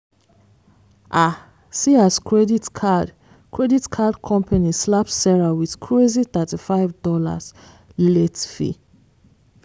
ah see as credit card credit card company slap sarah with crazy $35 late fee.